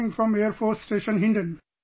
Speaking from Air Force station Hindon